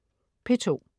P2: